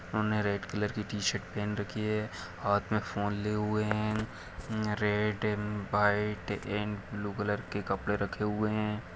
उन्होंने red colour की t shirt पहन रखी है हाथ में फोन लिए हुए है um red um white and blue colour के कपड़े रखे हुए हैं।